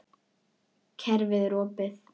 Kerfið er opið.